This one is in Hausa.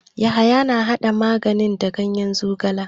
Yahaya na hada magani da ganyen zogala.